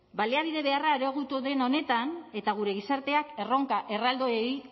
baliabide beharra areagotu den honetan eta gure gizarteak erronka erraldoiei